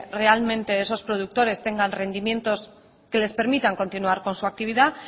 realmente esos productores tengan rendimientos que les permitan continuar con su actividad